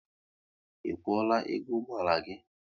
Ị kwuola ego ụgbọala gị?